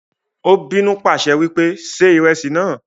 Ó bínú pàṣẹ wípé "ṣe ìrẹsì náà"